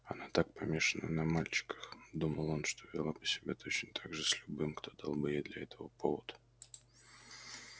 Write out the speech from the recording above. она так помешана на мальчиках думал он что вела бы себя точно так же с любым кто дал бы ей для этого повод